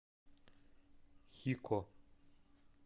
хико